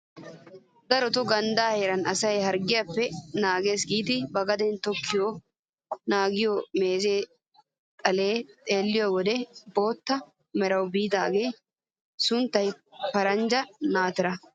Darotoo ganddaa heran asayi harggiyaappe naagees giidi ba gaden tokkidi naagiyoo meeze xaliyaa xeelliyoo wode bootta merawu biidagaa sunttay paranjja naatira!